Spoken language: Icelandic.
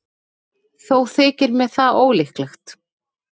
Þó þykir mér það ólíklegt.